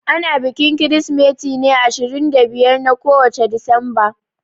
Ana bikin Kirsimeti ne ashirin da biyar na kowace Disamba.